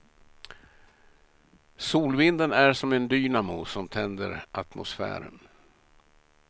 Solvinden är som en dynamo som tänder atmosfären.